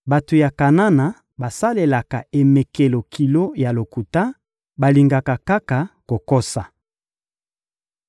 Bato ya Kanana basalelaka emekelo kilo ya lokuta, balingaka kaka kokosa.